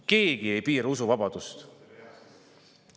Keegi ei piira usuvabadust.